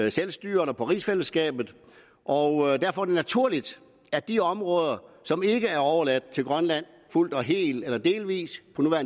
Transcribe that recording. i selvstyret og rigsfællesskabet og derfor er det naturligt at de områder som ikke er overladt til grønland fuldt og helt eller delvist